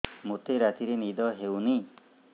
ମୋତେ ରାତିରେ ନିଦ ହେଉନି